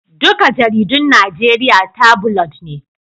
Duka jaridun Najeriya tabulod ne